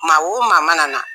Maa o maa mana na